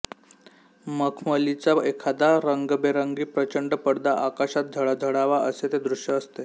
मखमलीचा एखादा रंगबेरंगी प्रचंड पडदा आकाशात झळझळावा असे ते दृश्य असते